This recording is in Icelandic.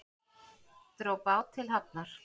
Dró bát til hafnar